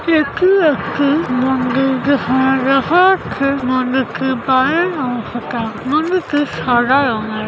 এটি একটি মন্দির যেখানে দেখা যাচ্ছে মন্দিরটির বাইরের অংশটা মন্দিরটি সাদা রংয়ের ।